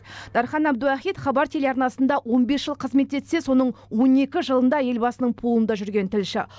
дархан әбдуахит хабар телеарнасында он бес жыл қызмет етсе соның он екі жылында елбасының пулында жүрген тілші